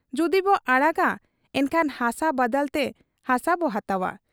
ᱡᱩᱫᱤᱵᱚ ᱟᱲᱟᱜᱟ ᱮᱱᱠᱷᱟᱱ ᱦᱟᱥᱟ ᱵᱟᱫᱟᱞᱛᱮ ᱦᱟᱥᱟᱵᱚ ᱦᱟᱛᱟᱣ ᱟ ᱾